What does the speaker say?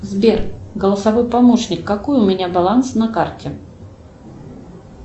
сбер голосовой помощник какой у меня баланс на карте